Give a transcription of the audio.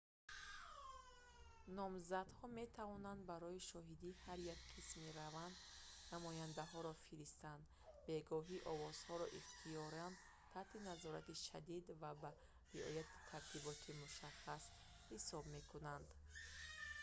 номзадҳо метавонанд барои шоҳидии ҳар як қисми раванд намояндаҳоро фиристанд бегоҳӣ овозҳоро ихтиёриён таҳти назорати шадид ва бо риояи тартиботи мушаххас ҳисоб мекунанд